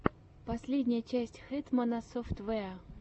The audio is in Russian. последняя часть хэтмана софтвэа